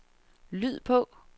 lyd på